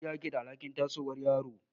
Iyaye ke da alhakin tasowar yaro.